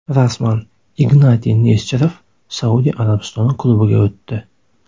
Rasman: Ignatiy Nesterov Saudiya Arabistoni klubiga o‘tdi.